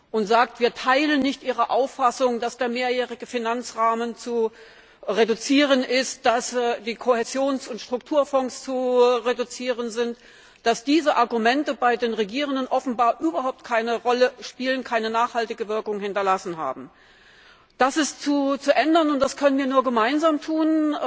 und sagt, wir teilen nicht Ihre Auffassung, dass der Mehrjährige Finanzrahmen zu reduzieren ist, dass die Kohäsions und Strukturfonds zu reduzieren sind, dass diese Argumente bei den Regierenden offenbar überhaupt keine Rolle spielen, keine nachhaltige Wirkung hinterlassen haben. Das ist zu ändern und das können wir nur gemeinsam tun.